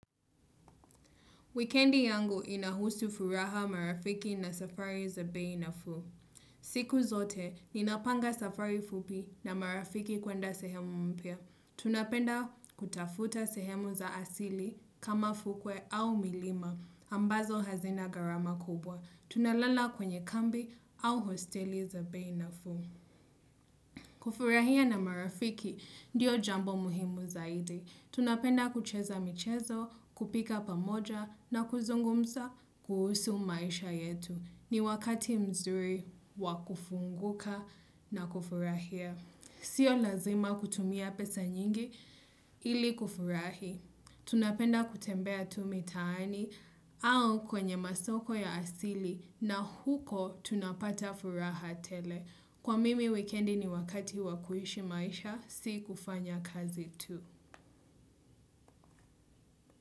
Wikendi yangu inahusu furaha, marafiki na safari za bei nafuu. Siku zote, ninapanga safari fupi na marafiki kwenda sehemu mpya. Tunapenda kutafuta sehemu za asili kama fukwe au milima ambazo hazina gharama kubwa. Tunalala kwenye kambi au hosteli za bei nafuu. Kufurahia na marafiki, ndiyo jambo muhimu zaidi. Tunapenda kucheza michezo, kupika pamoja na kuzungumza kuhusu maisha yetu. Ni wakati mzuri wa kufunguka na kufurahia. Sio lazima kutumia pesa nyingi ili kufurahi. Tunapenda kutembea tu mitaani au kwenye masoko ya asili na huko tunapata furaha tele. Kwa mimi, wikendi ni wakati wa kuishi maisha, si kufanya kazi tu.